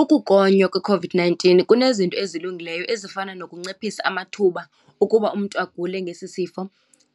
Ukugonywa kwi-COVID-nineteen kunezinto ezilungileyo ezifana nokunciphisa amathuba okuba umntu agule ngesi sifo,